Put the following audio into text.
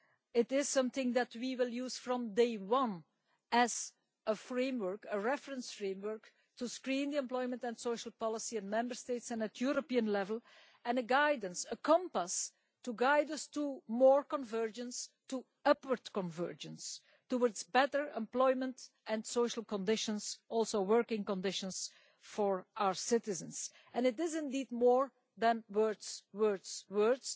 It is something that we will use from day one as a reference framework to screen the employment and social policy in Member States and at European level, and a guidance, a compass, to guide us to more convergence, to upward convergence, towards better employment and social conditions also working conditions for our citizens, and it is indeed more than words, words, words.